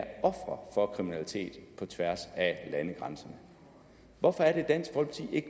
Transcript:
ofre for kriminalitet på tværs af landegrænser hvorfor